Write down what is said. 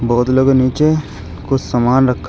बोतलों के नीचे कुछ सामान रखा--